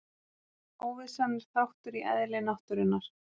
Óvissan er þáttur í eðli náttúrunnar.